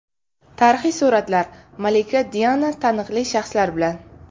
Tarixiy suratlar: Malika Diana taniqli shaxslar bilan.